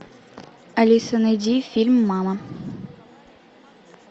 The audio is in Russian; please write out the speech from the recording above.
алиса найди фильм мама